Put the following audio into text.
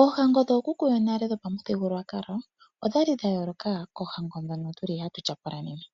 Oohango dhookuku yonale odhali dhayooloka koohango dhono hatu tyapula pethimbo lyonena.